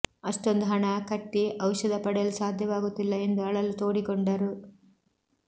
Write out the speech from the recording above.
ಅಷ್ಟೊಂದು ಹಣ ಕಟ್ಟಿ ಔಷಧ ಪಡೆಯಲು ಸಾಧ್ಯವಾಗುತ್ತಿಲ್ಲ ಎಂದು ಅಳಲು ತೋಡಿಕೊಂಡರು